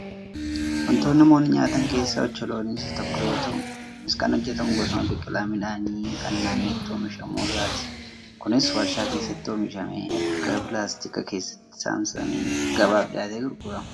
Wantoota namoonni nyaatan keessaa ocholooniin isa tokko yoo ta'u, innis kan hojjatamu gosuma biqilaa midhaanii kan naannootti oomishamu irraati. Kunis warshaa keessatti oomishamee erga pilaastika keessatti saamsamee gabaaf dhiyaatee gurgurama.